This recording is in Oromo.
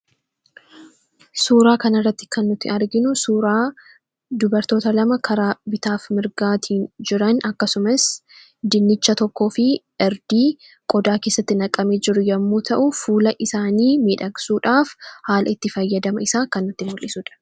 Suuraa kana irratti kan nuti arginu suuraa dubartoota lama karaa bitaa fi mirgaatiin jiran, akkasumas dinnicha tokkoo fi irdii qodaa keessatti naqamee jiru yommuu ta'u, fuula isaanii miidhagsuudhaaf haala itti fayyadama isaa kan nutti mul'isu dha.